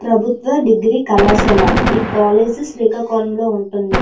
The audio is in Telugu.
ప్రభుత్వ డిగ్రీ కళాశాల ఈ కాలేజీ శ్రీకాకుళంలో ఉంటుంది.